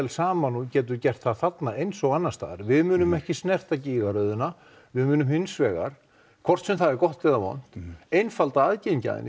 saman og getur gert það þarna eins og annarstaðar við munum ekki snerta gígaröðina við munum hinsvegar hvort sem það er gott eða vont einfalda aðgengi að henni